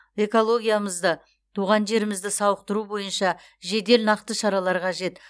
экологиямызды туған жерімізді сауықтыру бойынша жедел нақты шаралар қажет